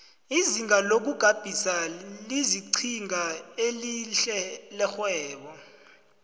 izinto zokugabisa zilinqhinga elihle lerhwebo